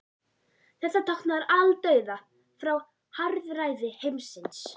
Þetta táknar aldauða frá harðræði heimsins.